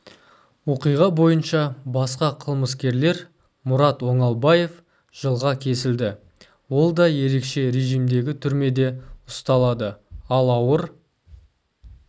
оқиға бойынша басқа қылмыскерлер мұрат оңалбаев жылға кесілді ол да ерекше режімдегі түрмеде ұсталады ал ауыр